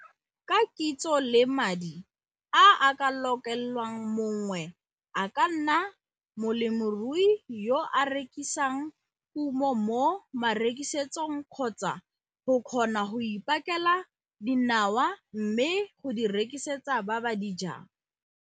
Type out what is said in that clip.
Ka kitso le madi a a ka lokelwang mongwe a ka nna molemirui yo a rekisang kumo mo marekisetsong kgotsa go kgona go ipakela dinawa mme go di rekisetsa ba ba di jang.